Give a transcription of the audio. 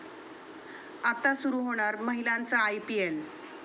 आता सुरू होणार महिलांचं आयपीएल!